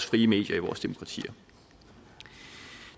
frie medier i vores demokratier